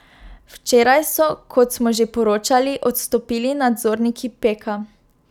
Včeraj so, kot smo že poročali, odstopili nadzorniki Peka.